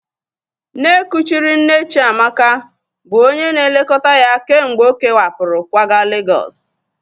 Nne kuchiri nne Chiamaka bụ onye na-elekọta ya kemgbe ọ kewapụrụ kwaga Legọs